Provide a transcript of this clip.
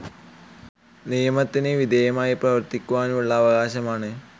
നിയമത്തിന് വിധേയമായി പ്രവർത്തിക്കുവാനുള്ള അവകാശമാണ്.